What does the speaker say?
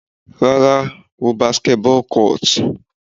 Rárá, wo basketball court.